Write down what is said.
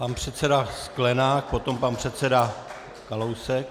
Pan předseda Sklenák, potom pan předseda Kalousek.